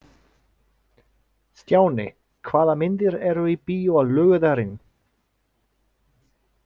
Stjáni, hvaða myndir eru í bíó á laugardaginn?